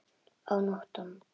Og nóttum!